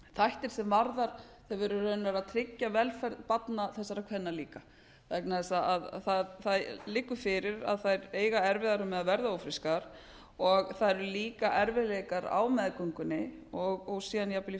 þættir sem er í rauninni að tryggja velferð þessara barna þessara kvenna líka vegna þess að það liggur fyrir að þær eiga erfiðara með að verða ófrískar og það eru líka erfiðleikar á meðgöngunni og síðan jafnvel í